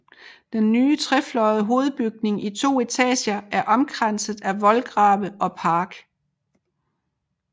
Den nye trefløjede hovedbygning i to etager er omkranset af voldgrave og park